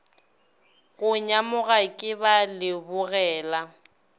go nyamoga ke ba lebogela